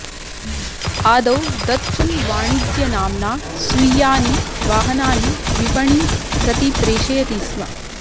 आदौ दत्सुन्वाणिज्यनाम्ना स्वीयानि वाहनानि विपणिं प्रति प्रेषयति स्म